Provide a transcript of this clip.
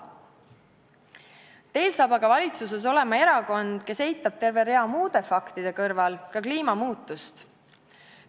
Teil saab aga valitsuses olema erakond, kes eitab terve rea muude faktide kõrval ka kliima muutumist.